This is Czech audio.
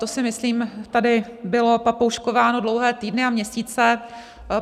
To, si myslím, tady bylo papouškováno dlouhé týdny a měsíce.